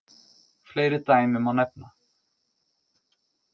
Fleiri dæmi má nefna.